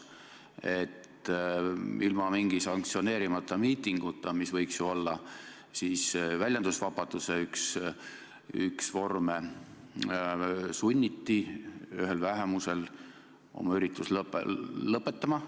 Tegu oli sanktsioneerimata miitinguga – sanktsioneeritud miiting võiks ju olla väljendusvabaduse üks vorme –, millega sunniti üht vähemust oma üritust lõpetama.